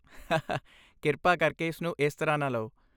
ਹਾਹਾ ਕਿਰਪਾ ਕਰਕੇ ਇਸ ਨੂੰ ਇਸ ਤਰ੍ਹਾਂ ਨਾ ਲਓ।